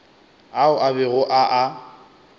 ao a bego a a